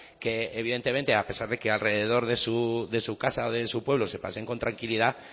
que evidentemente a pesar de que alrededor de su casa o de su pueblo se paseen con tranquilidad